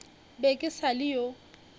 be ke sa le yo